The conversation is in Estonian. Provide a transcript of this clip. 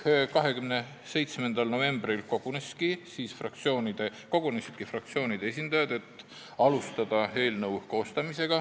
27. novembril kogunesidki fraktsioonide esindajad, et alustada eelnõu koostamist.